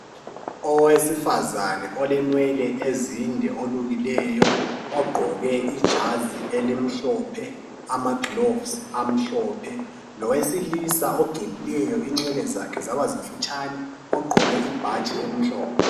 Owesifazana olenwele ezinde olukileleyo ,ogqoke ijazi elimhlophe lamagilavisi amhlophe lowesilisa ogelileyo inwele zakhe zabamfitshane ogqoke ibhatshi elimhlophe.